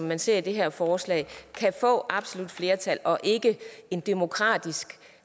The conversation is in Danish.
man ser det her forslag kan få absolut flertal og ikke en demokratisk